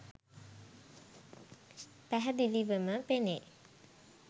පැහැදිලිවම පෙනේ.